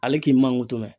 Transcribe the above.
Ale k'i manko tɛ